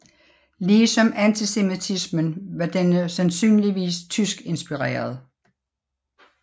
Ligesom antisemitismen var denne sandsynligvis tyskinspireret